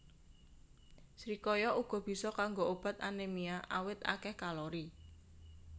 Srikaya uga bisa kanggo obat anémia awit akéh kalori